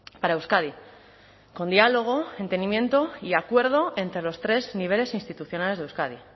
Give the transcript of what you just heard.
para euskadi con diálogo entendimiento y acuerdo entre los tres niveles institucionales de euskadi